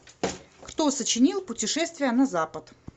кто сочинил путешествие на запад